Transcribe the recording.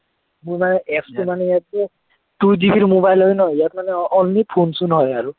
মোৰ মানে apps টো মানে ইয়াতে two GB ৰ mobile হয় ন, ইয়াত মানে only phone চোন হয় আৰু